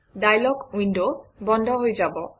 dialog window বন্ধ হৈ যাব